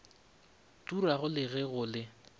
turago le ge go le